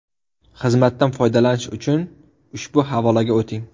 Xizmatdan foydalanish uchun ushbu havolaga o‘ting.